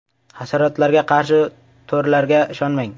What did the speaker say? Hasharotlarga qarshi to‘rlarga ishonmang.